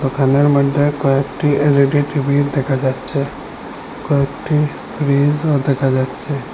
দোকানের মইদ্যে কয়েকটি এল_ই_ডি টি_ভি দেখা যাচ্ছে কয়েকটি ফ্রিজও দেখা যাচ্ছে।